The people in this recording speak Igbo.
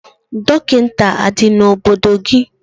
Dọkịta adị n'obodo gị?